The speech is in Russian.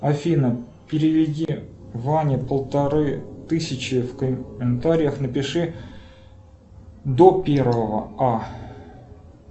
афина переведи ване полторы тысячи в комментариях напиши до первого а